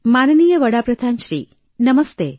માનનીય વડા પ્રધાન શ્રી નમસ્તે